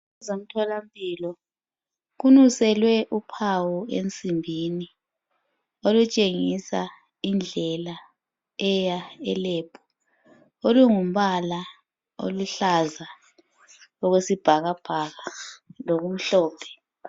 Kusemthola mpilo, kunuselwe uphawu ensimbini olutshengisa indlela eya elebhu. Olungumbala oyisibhakabhaka lomhlophe.